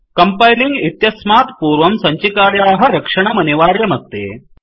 compiling इत्यस्मात् पूर्वं सञ्चिकायाः रक्षणमनिवार्यमस्ति